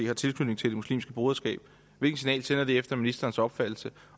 har tilknytning til det muslimske broderskab hvilke signaler sender det efter ministerens opfattelse